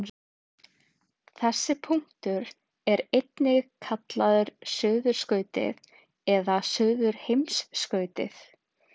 þessi punktur er einnig kallaður suðurskautið eða suðurheimskautið